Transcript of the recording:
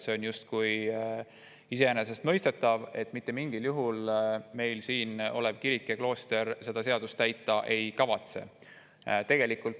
See oleks justkui iseenesestmõistetav, et siin asuvad kirik ja klooster mitte mingil juhul seda seadust täita ei kavatse.